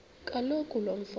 kaloku lo mfo